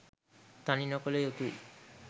තනි නොකළ යුතුයි